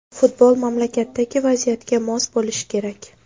Futbol mamlakatdagi vaziyatga mos bo‘lishi kerak.